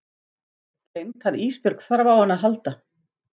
Gleymt að Ísbjörg þarf á henni að halda.